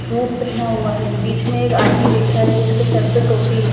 Fruit पहना हुआ है बीच में एक आदमी बैठा है जिसके सर पर टोपी है।